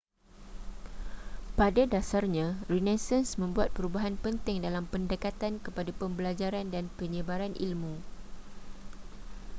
pada dasarnya renaissance membuat perubahan penting dalam pendekatan kepada pembelajaran dan penyebaran ilmu